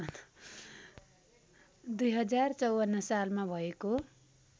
२०५४ सालमा भएको